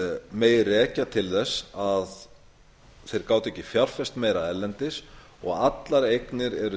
megi rekja til þess að þeir gátu ekki fjárfest meira erlendis og allar eignir eru